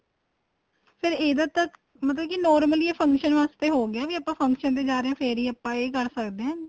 ਫ਼ੇਰ ਇਹਦਾ ਤਾਂ ਮਤਲਬ ਕੀ normally ਹੀ function ਵਾਸਤੇ ਹੋ ਗਿਆ ਫ਼ੇਰ ਆਪਾਂ function ਤੇ ਜਾਂ ਰਹਿਆ ਫ਼ੇਰ ਹੀ ਆਪਾਂ ਏ ਕਰ ਸਕਦੇ ਹਾਂ